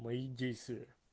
мои действия